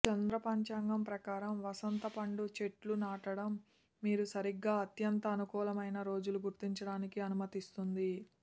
చంద్ర పంచాంగం ప్రకారం వసంత పండు చెట్లు నాటడం మీరు సరిగ్గా అత్యంత అనుకూలమైన రోజుల గుర్తించడానికి అనుమతిస్తుంది